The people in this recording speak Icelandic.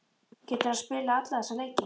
Getur hann spilað alla þessa leiki?